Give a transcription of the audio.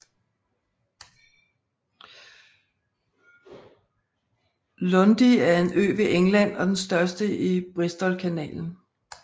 Lundy er en ø ved England og den største i Bristolkanalen